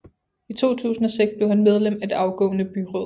I 2006 blev han medlem af det afgående byråd